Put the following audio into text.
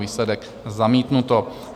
Výsledek: zamítnuto.